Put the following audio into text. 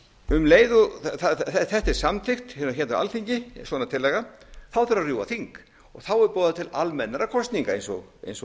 um leið og þetta er samþykkt hérna á alþingi svona tillaga þarf að rjúfa þing þá er boðað til almennra kosninga eins og ég